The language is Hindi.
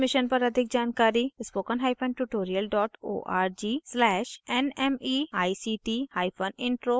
इस मिशन पर अधिक जानकारी